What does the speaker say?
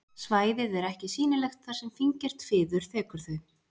Svæðið er ekki sýnilegt þar sem fíngert fiður þekur þau.